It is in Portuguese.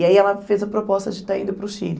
E aí ela fez a proposta de estar indo para o Chile.